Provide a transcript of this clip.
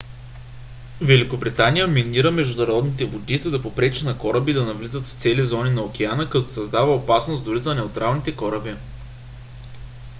великобритания минира международните води за да попречи на кораби да навлизат в цели зони на океана като създава опасност дори за неутралните кораби